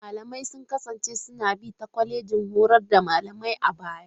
Malamai sun kasance suna bi ta kwalejojin horar da malamai a baya.